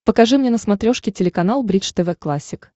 покажи мне на смотрешке телеканал бридж тв классик